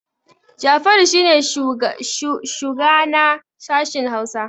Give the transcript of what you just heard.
Jafaru shi ne shugana sashin Hausa